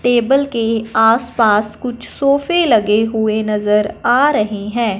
Table के आसपास कुछ सोफे लगे हुए नजर आ रहे हैं।